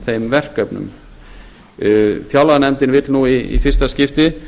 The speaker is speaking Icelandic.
þeim verkefnum fjárlaganefndin vill nú í fyrsta skipti